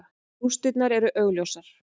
Rústirnar eru augljósar.